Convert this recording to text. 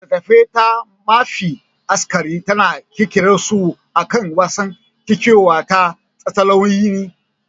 Littattafan ta mafi akasari tana kirkirarsu akan wasan kwaikwayo da tatsuniyoyi.